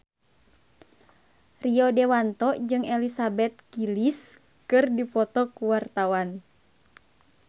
Rio Dewanto jeung Elizabeth Gillies keur dipoto ku wartawan